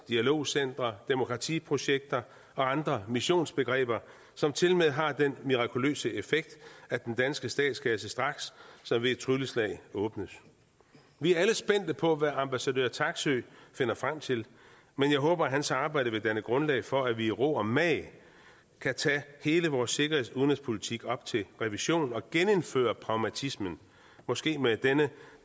dialogcentre demokratiprojekter og andre missionsbegreber som tilmed har den mirakuløse effekt at den danske statskasse straks som ved et trylleslag åbnes vi er alle spændte på hvad ambassadør taksøe finder frem til men jeg håber at hans arbejde vil danne grundlag for at vi i ro og mag kan tage hele vores sikkerheds og udenrigspolitik op til revision og genindføre pragmatismen måske med den